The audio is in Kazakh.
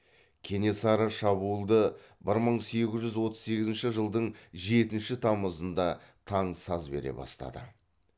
кенесары шабуылды бір мың сегіз жүз отыз сегізінші жылдың жетінші тамызында таң саз бере бастады